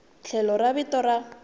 tlhelo ra vito ra n